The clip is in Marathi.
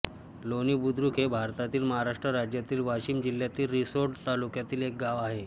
लोणीबुद्रुक हे भारतातील महाराष्ट्र राज्यातील वाशिम जिल्ह्यातील रिसोड तालुक्यातील एक गाव आहे